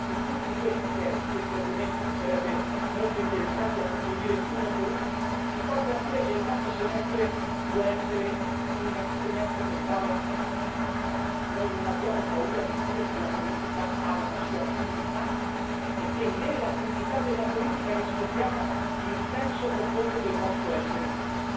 Ecco, tutti questi temi, che sarebbe molto interessante approfondire uno per uno, ci portano a dire che il nostro semestre vuole essere un semestre nel quale noi non abbiamo paura di dire che la politica ha una sua dignità e che nella dignità della politica riscopriamo il senso profondo del nostro essere qui.